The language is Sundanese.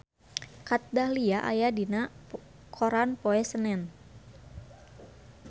Kat Dahlia aya dina koran poe Senen